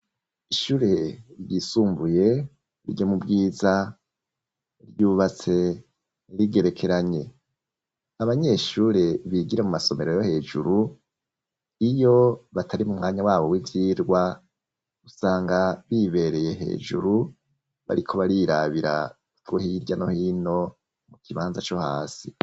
Ishure ryisumbuye ryo mubwiza, ryubatse rigerekeranye, abanyeshure bigira mu masomero yo hejuru iyo batari mu mwanya wabo w'ibirwa usanga bibereye hejuru bariko barirabira two hirya no hino mu kibanza co hasi.